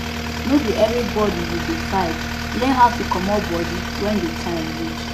no be everybody you go fight learn how to comot body when di time reach